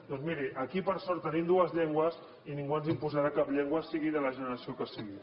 doncs miri aquí per sort tenim dues llengües i ningú ens imposarà cap llengua sigui de la generació que sigui